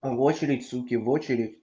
в очередь суки в очередь